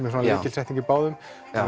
er lykilsetning í báðum